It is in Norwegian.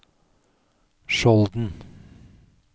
Skjolden